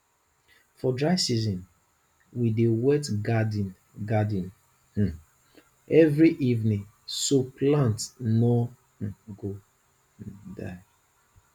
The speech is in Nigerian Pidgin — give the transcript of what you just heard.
for dry season we dey wet garden garden um every evening so plants no um go um die